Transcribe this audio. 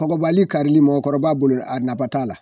Kɔgɔbali karili mɔgɔkɔrɔba bolo ,a naba t'a la.